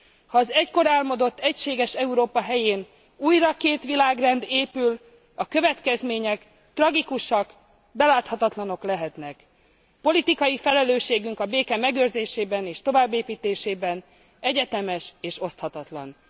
Ha az egykor álmodott egységes Európa helyén újra két világrend épül, a következmények tragikusak, beláthatatlanok lehetnek. Politikai felelősségünk a béke megőrzésében és továbbépítésében egyetemes és oszthatatlan.